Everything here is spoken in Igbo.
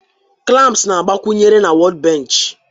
clamps na-agbakwunyere na workbench